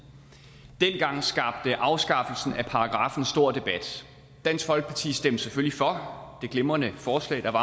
dengang skabte afskaffelsen af paragraffen stor debat dansk folkeparti stemte selvfølgelig for det glimrende forslag der var